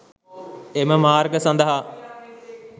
එම මාර්ග සඳහා